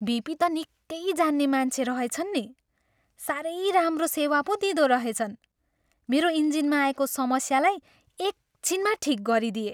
VP त निक्कै जान्ने मान्छे रहेछन् नि। साह्रै राम्रो सेवा पो दिँदोरहेछन्। मेरो इन्जिनमा आएको समस्यालाई एक छिनमा ठिक गरिदिए।